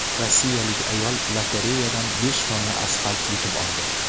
Rossiyalik ayol lotereyadan besh tonna asfalt yutib oldi.